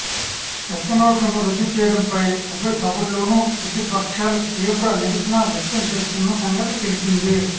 పెద్దనోట్లను రద్దు చేయడంపై ఉభయసభల్లోనూ ప్రతిపక్షాలు తీవ్ర నిరసన వ్యక్తం చేస్తున్న సంగతి తెలిసిందే